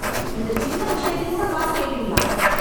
இந்த சின்ன மூட்டைக்கு கூட காசு கேப்பீங்களா?